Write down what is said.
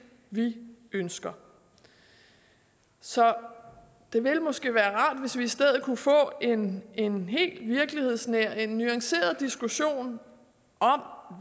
vi ønsker så det ville måske være rart hvis vi i stedet kunne få en en helt virkelighedsnær nuanceret diskussion om